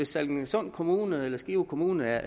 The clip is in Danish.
sallingsund kommune eller skive kommune